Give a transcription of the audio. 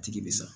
Tigi bɛ sa